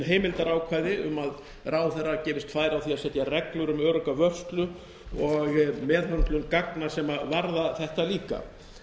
heimildarákvæði um að ráðherra gefist færi á því að setja reglur um örugga vörslu og meðhöndlun gagna sem varða þetta líka